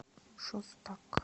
шостак